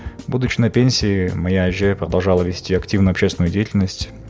будучи на пенсий моя әже продолжала вести активно общественную деятельность